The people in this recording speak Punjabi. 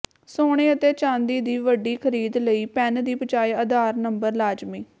ਸੋਨੇ ਅਤੇ ਚਾਂਦੀ ਦੀ ਵੱਡੀ ਖਰੀਦ ਲਈ ਪੈਨ ਦੀ ਬਜਾਏ ਆਧਾਰ ਨੰਬਰ ਲਾਜ਼ਮੀ